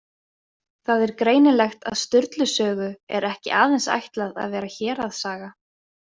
Það er greinilegt að Sturlu sögu er ekki aðeins ætlað að vera héraðssaga.